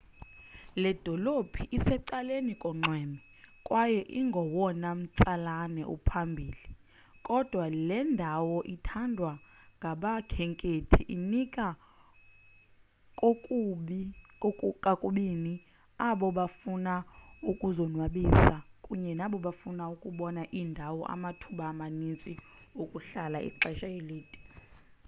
le dolophu isecaleni konxweme kwaye ingowona umtsalane uphambili kodwa le ndawo ithandwa ngabakhenkethi inika kokubini abo bafuna ukuzonwabisa kunye nabo bafuna ukubona iindawo amathuba amaninzi okuhlala ixesha elide